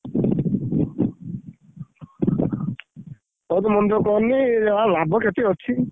ହଉ ତୁ ମନ ଦୁଖ କରନି ଯାହା ଲାଭ କ୍ଷତି ଅଛି।